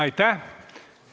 Aitäh!